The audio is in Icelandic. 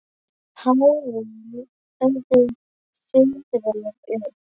Hárin höfðu fuðrað upp.